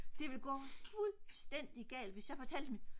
det vil gå fuldstændig galt hvis jeg fortalte dem at